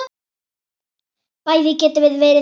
Bæði getum við verið þrjósk.